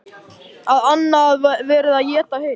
Að annað verði að éta hitt.